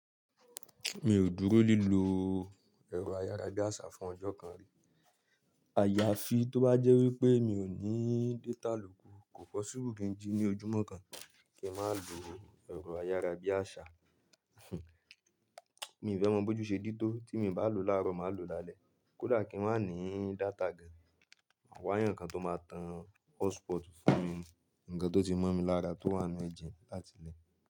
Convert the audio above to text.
Mi ò dúró lílọ ẹ̀rọ ayára bí àṣá fún ọjọ́ kan rí. Àyàfi tó bá jẹ́ wípé mi ò ní data lóku, kò possible kín jí ní ojúmọ́ kan kí n má lò ẹ̀rọ ayára bí àṣá. Mí ìfẹ́ mọ̀ bóju ṣe dí tó tí mi bà lo lárò má lo lalẹ, kódà kín ma ní data gan, mà wà yàn nkàn tó má tàn hotspot fún mi, nkàn tó ti mó mi lára tó wà nu ẹ́jẹ́ láti ilẹ̀